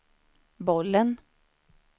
bollen